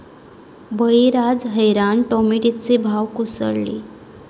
बळीराजा हैराण, टोमॅटोचे भाव कोसळले